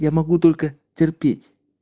я могу только терпеть